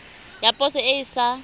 ya poso e e sa